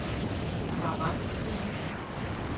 Ahmad Steen